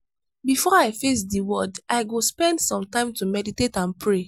before i face di world i go spend some time to meditate and pray.